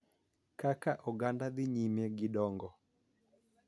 Kaka oganda dhi nyime gi dongo,